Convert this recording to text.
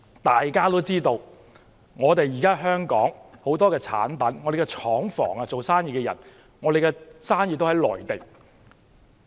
大家也知道，香港很多產品在內地生產，不少廠房和生意也設在內地。